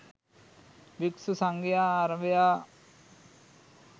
භික්ෂු සංඝයා අරභයා